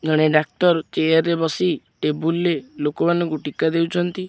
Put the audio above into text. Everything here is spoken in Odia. ଜଣେ ଡାକ୍ତର ଚେୟାର ରେ ବସି ଟେବୁଲ୍ ରେ ଲୋକ ମାନଙ୍କୁ ଟୀକା ଦେଉଛନ୍ତି।